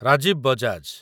Rajiv Bajaj